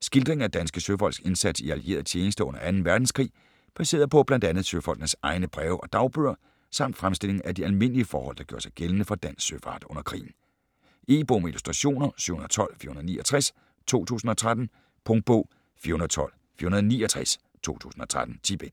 Skildring af danske søfolks indsats i allieret tjenste under 2. verdenskrig, baseret på bl.a. søfolkenes egne breve og dagbøger, samt fremstilling af de almindlige forhold der gjorde sig gældende for dansk søfart under krigen. E-bog med illustrationer 712469 2013. Punktbog 412469 2013. 10 bind.